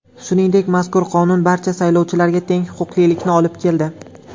Shuningdek, mazkur qonun barcha saylovchilarga teng huquqlilikni olib keldi.